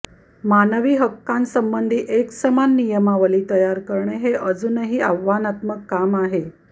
मानवी हक्कांसंबंधी एकसमान नियमावली तयार करणे हे अजूनही आव्हानात्मक काम आहे